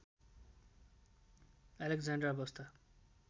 Alexandra बस्दा